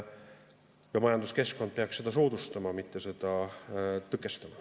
Ja majanduskeskkond peaks seda soodustama, mitte seda tõkestama.